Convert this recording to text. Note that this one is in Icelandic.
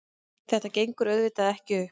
Þetta gengur auðvitað ekki upp.